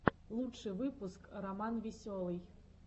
лучший выпуск романвеселый